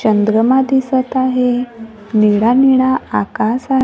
चंद्रमा दिसत आहे निळा निळा आकास--